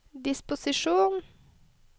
disposisjon